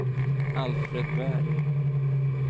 Alfred Berg